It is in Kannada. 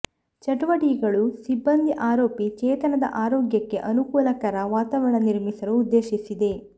ಚಟುವಟಿಕೆಗಳು ಸಿಬ್ಬಂದಿ ಆರೋಪಿ ಚೇತನದ ಆರೋಗ್ಯಕ್ಕೆ ಅನುಕೂಲಕರ ವಾತಾವರಣ ನಿರ್ಮಿಸಲು ಉದ್ದೇಶಿಸಿದೆ